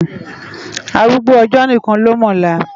Árúgbó òjò nikán ló mò òlá